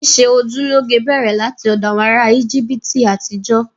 Ṣíṣe ojú lọ́ge bẹ̀rẹ̀ láti ọ̀dọ̀ àwọn ará Íjíbítì àtijọ́